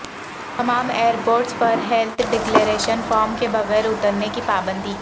تمام ایئرپورٹس پر health declaration form کے بغیر اترنے کی پابندی